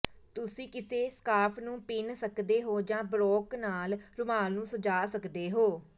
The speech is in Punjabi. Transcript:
ਤੁਸੀਂ ਕਿਸੇ ਸਕਾਰਫ਼ ਨੂੰ ਪਿੰਨ੍ਹ ਸਕਦੇ ਹੋ ਜਾਂ ਬਰੋਕ ਨਾਲ ਰੁਮਾਲ ਨੂੰ ਸਜਾਉਂ ਸਕਦੇ ਹੋ